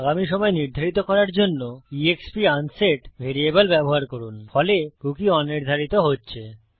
আগামী সময় নির্ধারিত করার জন্য এক্সপ আনসেট ভ্যারিয়েবল ব্যবহার করুন ফলে কুকী অনির্ধারিত হচ্ছে